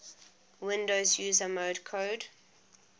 windows user mode code